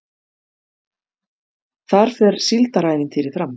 Þar fer Síldarævintýrið fram